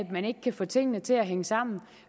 man ikke kan få tingene til at hænge sammen